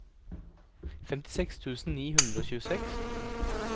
femtiseks tusen ni hundre og tjueseks